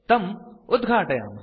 तं उद्घाटयामः